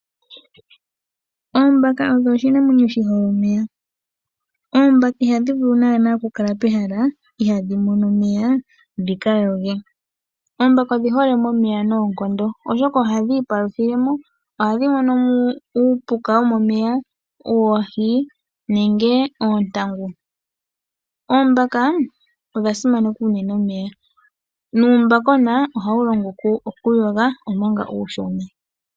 Oombaka odho oshinamwenyo shi hole omeya. Oombaka ihadhi vulu naana okukala pehala ihaadhi mono omeya, dhi ka yoge. Oombaka odhi hole momeya noonkondo oshoka ohadhi ipaluthile mo. Ohadhi mono mo uupuka womomeya, oohi nenge oontangu. Oombaka odha simaneka unene omeya, nuumbakona ohawu longwa okuyoga omanga uushona.